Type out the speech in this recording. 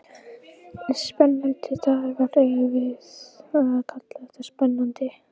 Spennandi dagar, eigum við að kalla þetta spennandi?